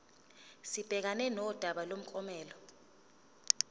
sibhekane nodaba lomklomelo